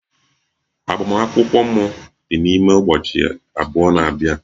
Agbamakwụkwọ m dị n'ime ụbọchị abụọ na-abia